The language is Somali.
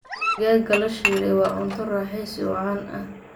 Digaagga la shiilay waa cunto raaxaysi oo caan ah.